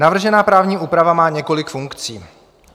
Navržená právní úprava má několik funkcí.